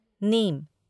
नीम